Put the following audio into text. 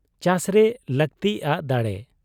ᱪᱟᱥᱨᱮ ᱞᱟᱹᱠᱛᱤᱜ ᱟ ᱫᱟᱲᱮ ᱾